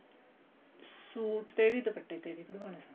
suit ਤੇ ਵੀ ਦੁਪੱਟੇ ਤੇ ਵੀ ਬਣਵਾਉਣਾ